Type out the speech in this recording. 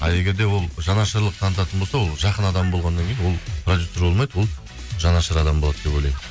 а егер де ол жанашырлық танытатын болса ол жақын адам болғаннан кейін ол продюсер болмайды ол жанашыр адам болады деп ойлаймын